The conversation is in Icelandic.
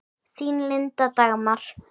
Þín, Linda Dagmar.